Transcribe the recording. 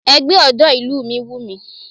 Ẹgbẹ́ ọ̀dọ́ ìlú mi wùmí